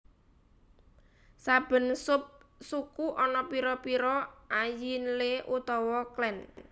Saben sub suku ana pira pira Ayinle utawa clan